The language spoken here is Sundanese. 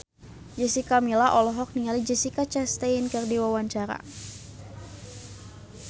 Jessica Milla olohok ningali Jessica Chastain keur diwawancara